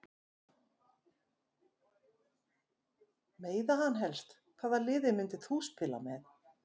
Meiða hann helst Hvaða liði myndir þú aldrei spila með?